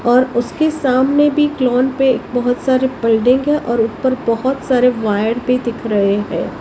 और उसके सामने भी क्लोन पे बहुत सारे बिल्डिंग है और ऊपर बहुत सारे वायर भी दिख रहे हैं।